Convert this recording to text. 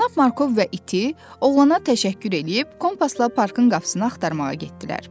Cənab Markov və iti oğlana təşəkkür edib, kompasla parkın qapısını axtarmağa getdilər.